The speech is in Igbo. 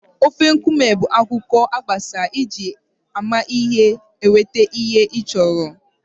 Ofe nkume bụ akụkọ gbasara iji amamihe nweta ihe ị chọrọ.